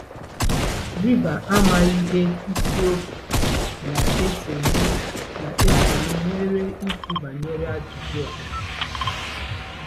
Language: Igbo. Rịba ama ihe isiokwu na-esonụ na-esonụ nwere ikwu banyere ajụjụ a.